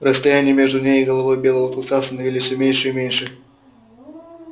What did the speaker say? расстояние между ней и головой белого клыка становились всё меньше и меньше